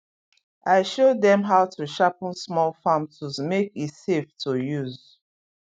i show dem how to sharpen small farm tools make e safe to use